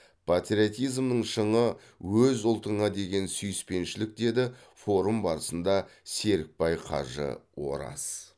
патриотизмнің шыңы өз ұлтыңа деген сүйіспеншілік деді форум барысында серікбай кажы ораз